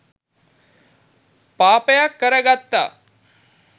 පාපයක්කර ගත්තා.